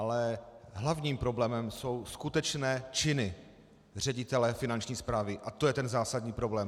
Ale hlavním problémem jsou skutečné činy ředitele Finanční správy a to je ten zásadní problém.